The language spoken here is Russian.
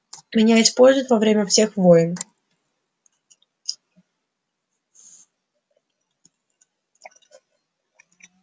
меня используют во время всех войн